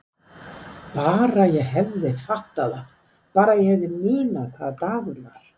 Bara ég hefði fattað það, bara ef ég hefði munað hvaða dagur var.